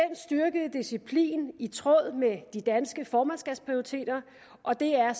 styrkede disciplin i tråd med det danske formandskabs prioriteter og det er